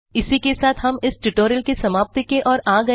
इसी के साथ हम इस ट्यूटोरियल की समाप्ति की ओर आ गये हैं